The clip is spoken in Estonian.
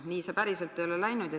Nii see ei ole päriselt läinud.